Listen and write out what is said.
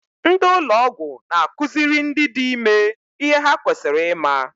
Ndị ụlọ ọgwụ n'akụziri ndị dị ime ihe ha kwesịrị ịma.